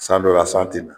San dɔ la san tɛ na